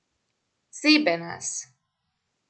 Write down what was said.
Zebe nas.